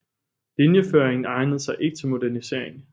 Linjeføringen egnede sig ikke til modernisering